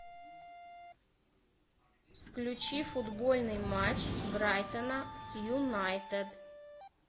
включи футбольный матч брайтона с юнайтед